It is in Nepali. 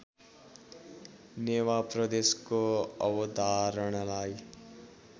नेवा प्रदेशको अवधारणालाई